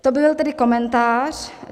To byl tedy komentář.